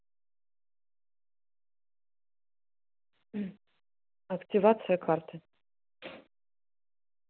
активация карты